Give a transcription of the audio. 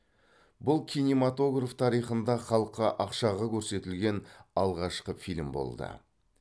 бұл кинематограф тарихында халыққа ақшаға көрсетілген алғашқы фильм болды